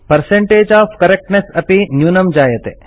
percentage of the correctness अपि न्यूनं जायते